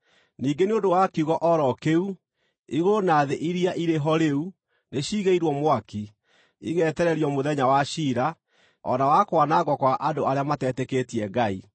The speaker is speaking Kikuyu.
Ningĩ nĩ ũndũ wa kiugo o ro kĩu, igũrũ na thĩ iria irĩ ho rĩu nĩciigĩirwo mwaki, igetererio mũthenya wa ciira, o na wa kwanangwo kwa andũ arĩa matetĩkĩtie Ngai.